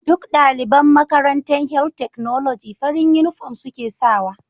Duk daliban Makarantan health technology farin inufom suke sawa